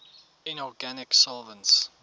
inorganic solvents